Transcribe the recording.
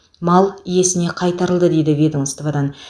мал иесіне қайтарылды дейді ведомстводан